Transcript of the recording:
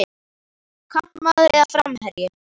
Kantmaður eða framherji?